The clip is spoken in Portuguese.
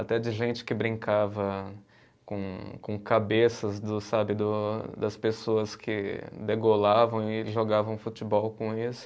Até de gente que brincava com com cabeças dos, sabe, do das pessoas que degolavam e jogavam futebol com isso.